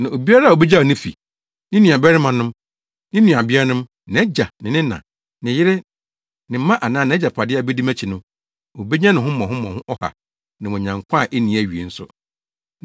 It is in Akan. Na obiara a obegyaw ne fi, ne nuabarimanom, ne nuabeanom, nʼagya, ne na, ne yere, ne mma anaa nʼagyapade abedi mʼakyi no, obenya no ho mmɔho ɔha, na wanya nkwa a enni awiei nso.